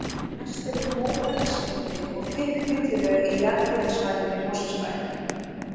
Mest er um móbergsmyndanir og þykk millilög á jarðhitasvæðunum í Mosfellsbæ.